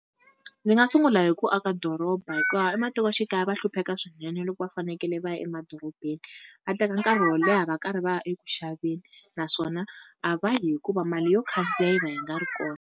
Ndzi nga sungula hi ku aka doroba hikuva ematikoxikaya va hlupheka swinene loko va fanekele va ya emadorobeni. Va teka nkarhi wo leha va karhi va ya eku xaveni naswona a va yi, hikuva mali yo khandziya yi va yi nga ri kona.